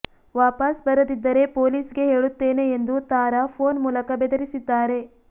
ವಾಪಸ್ ಬರದಿದ್ದರೆ ಪೊಲೀಸ್ ಗೆ ಹೇಳುತ್ತೇನೆ ಎಂದು ತಾರಾ ಫೋನ್ ಮೂಲಕ ಬೆದರಿಸಿದ್ದಾರೆ